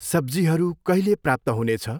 सब्जीहरू कहिले प्राप्त हुनेछ?